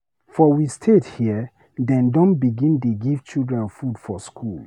For we state here, dem don begin dey give children food for skool